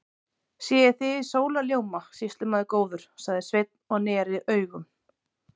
Sé ég þig í sólarljóma, sýslumaður góður, sagði Sveinn og neri augun.